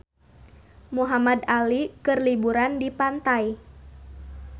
Muhamad Ali keur liburan di pantai